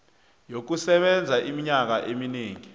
yokusebenza iminyaka eminengi